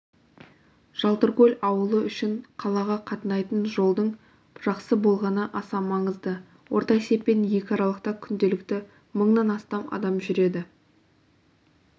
жалтыркөл ауылы үшін қалаға қатынайтын жолдың жақсы болғаны аса маңызды орта есеппен екі аралықта күнделікті мыңнан астам адам жүреді